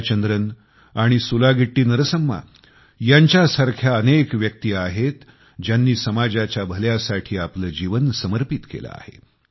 जयचंद्रन आणि सुलागिट्टी नरसम्मा यांच्यासारख्या अनेक व्यक्ती आहेत ज्यांनी समाजाच्या भल्यासाठी आपले जीवन समर्पित केले आहे